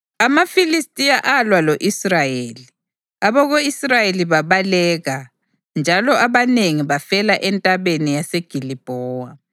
AmaFilistiya alwa lo-Israyeli; abako-Israyeli babaleka, njalo abanengi bafela eNtabeni yase Gilibhowa.